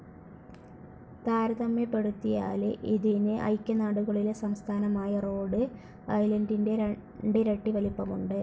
താരതമ്യപ്പെടുത്തിയാല് ഇതിന് ഐക്യനാടുകളിലെ സംസ്ഥാനമായ റോഡ്‌ ഐലൻഡിൻറെ രണ്ടിരട്ടി വലിപ്പമുണ്ട്.